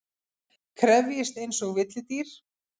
Krefjist einsog villidýr.